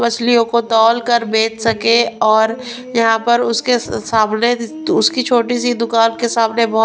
मछलियों को तौलकर बेच सके और यहां पर उसके सांवले उसकी छोटी सी दुकान के सामने--